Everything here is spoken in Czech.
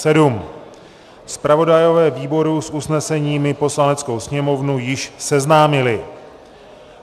Zpravodajové výboru s usneseními Poslaneckou sněmovnu již seznámili.